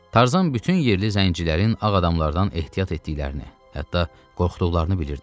Tarzan bütün yerli zəncilərin ağ adamlardan ehtiyat etdiklərini, hətta qorxduqlarını bilirdi.